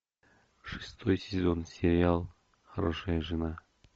шестой сезон сериал хорошая жена